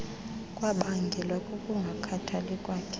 kwabangelwa kukungakhathali kwakhe